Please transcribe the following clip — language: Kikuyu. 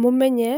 Mũmenye